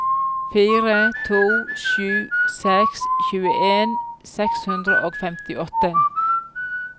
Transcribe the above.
fire to sju seks tjueen seks hundre og femtiåtte